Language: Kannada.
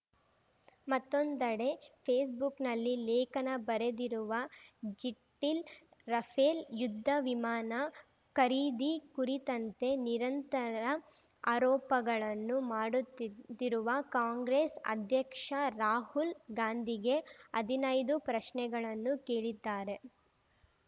ಮತ್ತೊಂದೆಡೆ ಫೇಸ್‌ಬುಕ್‌ನಲ್ಲಿ ಲೇಖನ ಬರೆದಿರುವ ಜಿಟ್ಟಿಲ್ ರಫೇಲ್‌ ಯುದ್ಧ ವಿಮಾನ ಖರೀದಿ ಕುರಿತಂತೆ ನಿರಂತರ ಆರೋಪಗಳನ್ನು ಮಾಡುತ್ತಿದ್ ತ್ತಿರುವ ಕಾಂಗ್ರೆಸ್‌ ಅಧ್ಯಕ್ಷ ರಾಹುಲ್‌ ಗಾಂಧಿಗೆ ಹದಿನೈದು ಪ್ರಶ್ನೆಗಳನ್ನು ಕೇಳಿದ್ದಾರೆ